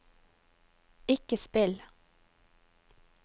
ikke spill